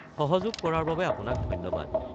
সহযোগ কৰাৰ বাবে অপোনাক ধন্যবাদ।